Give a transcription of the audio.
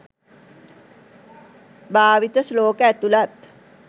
භාවිත ශ්ලෝක ඇතුළත්